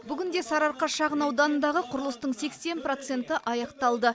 бүгінде сарыарқа шағын ауданындағы құрылыстың сексен проценті аяқталды